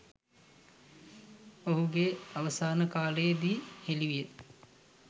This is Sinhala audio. ඔහු ගේ අවසාන කාලයේ දී හෙළි විය